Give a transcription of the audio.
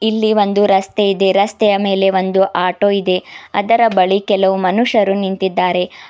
ಇಲ್ಲಿ ಒಂದು ರಸ್ತೆ ಇದೆ ರಸ್ತೆಯ ಮೇಲೆ ಒಂದು ಆಟೋ ಇದೆ ಅದರ ಬಳಿ ಕೆಲವು ಮನುಷ್ಯರು ನಿಂತಿದ್ದಾರೆ.